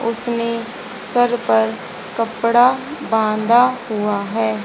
उसने सर पर कपड़ा बांधा हुआ है।